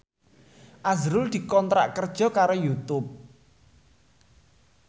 azrul dikontrak kerja karo Youtube